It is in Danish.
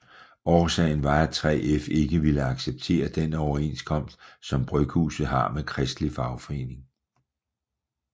Årsagen var at 3F ikke ville acceptere den overenskomst som bryghuset har med Kristelig Fagforening